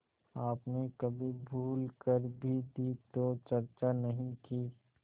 आपने कभी भूल कर भी दी तो चर्चा नहीं की